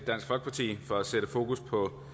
herre